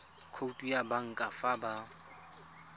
khoutu ya banka fa ba